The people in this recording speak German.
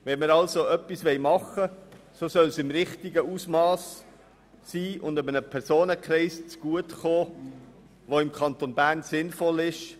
Wenn wir somit etwas tun wollen, soll es im richtigen Ausmass und in einer Art und Weise geschehen, die für den Kanton Bern sinnvoll ist.